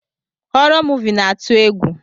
Horo moovi na atụ egwu.